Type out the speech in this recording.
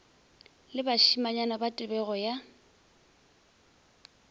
le bašimanyana ba tebego ya